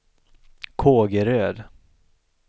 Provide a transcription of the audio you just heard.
Kågeröd